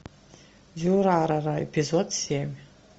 дюрарара эпизод семь